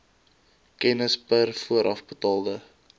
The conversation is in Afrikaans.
kennis per voorafbetaalde